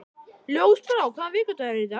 Ljósbrá, hvaða vikudagur er í dag?